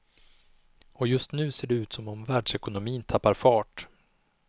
Och just nu ser det ut som om världsekonomin tappar fart.